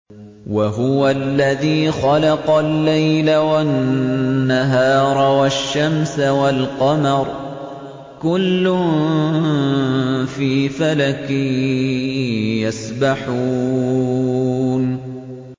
وَهُوَ الَّذِي خَلَقَ اللَّيْلَ وَالنَّهَارَ وَالشَّمْسَ وَالْقَمَرَ ۖ كُلٌّ فِي فَلَكٍ يَسْبَحُونَ